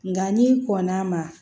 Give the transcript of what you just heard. Nka n'i kɔnn'a ma